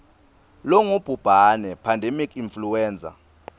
longubhubhane pandemic influenza